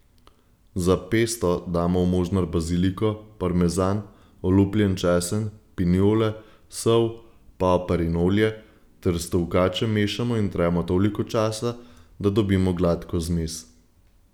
Za pesto damo v možnar baziliko, parmezan, olupljen česen, pinjole, sol, poper in olje ter s tolkačem mešamo in tremo toliko časa, da dobimo gladko zmes.